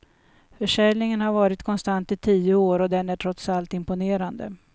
Försäljningen har varit konstant i tio år och den är trots allt imponerande.